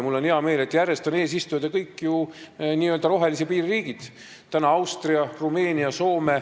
Mul on hea meel, et järjest on eesistujad kõik n-ö rohelise piiri riigid – praegu on Austria, seejärel Rumeenia, Soome.